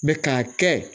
k'a kɛ